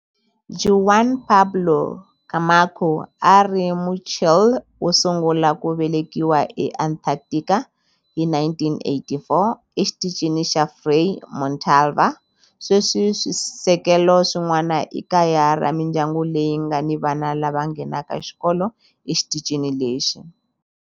Juan Pablo Camacho a a ri Muchile wo sungula ku velekiwa eAntarctica hi 1984 eXitichini xa Frei Montalva. Sweswi swisekelo swin'wana i kaya ra mindyangu leyi nga ni vana lava nghenaka xikolo exitichini lexi.